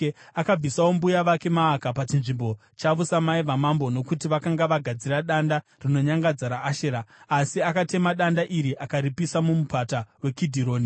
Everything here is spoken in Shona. Akabvisawo mbuya vake Maaka pachinzvimbo chavo samai vamambo, nokuti vakanga vagadzira danda rinonyangadza raAshera. Asa akatema danda iri akaripisa muMupata weKidhironi.